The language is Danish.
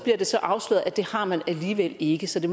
det så afsløret at det har man alligevel ikke så det